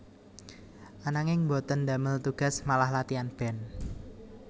Ananging boten damel tugas malah latian band